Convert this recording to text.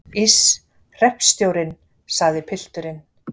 Iss, hreppstjórinn, sagði pilturinn.